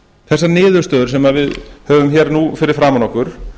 þessar niðurstöður sem við höfum nú fyrir framan okkur